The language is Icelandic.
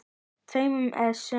tveimur essum.